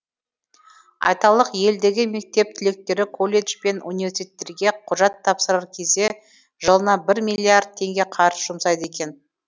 айталық елдегі мектеп түлектері колледж бен университеттерге құжат тапсырар кезде жылына бір миллиард теңге қаржы жұмсайды екен